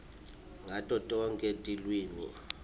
ngato tonkhe tilwimi